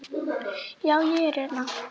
Já, ég er hérna.